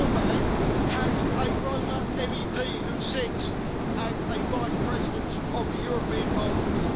Orbán has a Roma MEP who sits as a vice president of the European Parliament.